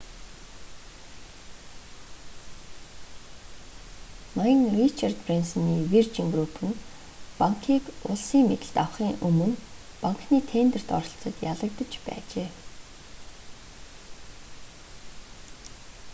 ноён ричард брэнсоны виржин групп нь банкийг улсын мэдэлд авахын өмнө банкны тендерт оролцоод ялагдаж байжээ